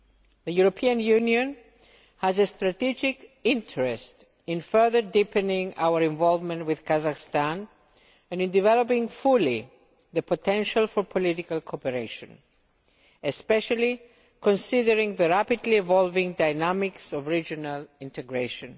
The EU has a strategic interest in further deepening our involvement with Kazakhstan and in developing fully the potential for political cooperation especially considering the rapidly evolving dynamics of regional integration.